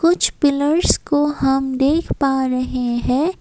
कुछ पिलर्स को हम देख पा रहे हैं।